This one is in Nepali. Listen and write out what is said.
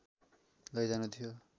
लैजानु थियो